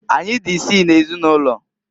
Anyị dị isii n'ezinụlọ.